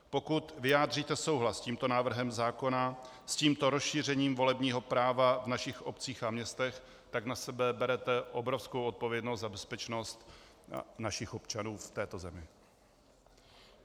Pokud vyjádříte souhlas s tímto návrhem zákona, s tímto rozšířením volebního práva v našich obcích a městech, tak na sebe berete obrovskou odpovědnost za bezpečnost našich občanů v této zemi.